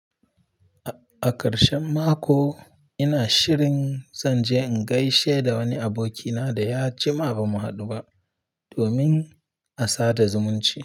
A ƙarshen mako ina shirin zan je in gaishe da wani abokina da ya jima bamu haɗu ba domin a sada zumunci.